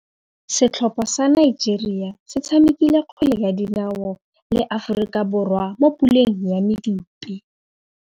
Setlhopha sa Nigeria se tshamekile kgwele ya dinaô le Aforika Borwa mo puleng ya medupe.